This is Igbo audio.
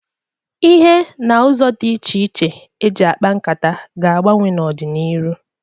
Ihe n' ụzọ dị iche iche e ji akpa nkata ga-agbanwe n'ọ dị n'iru.